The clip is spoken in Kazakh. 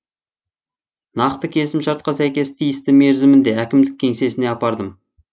нақты келісімшартқа сәйкес тиісті мерзімінде әкімдік кеңсесіне апардым